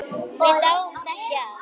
Við dáumst ekki að